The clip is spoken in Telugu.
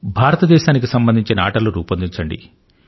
భారతదేశానికి సంబంధించిన ఆటలు రూపొందించండి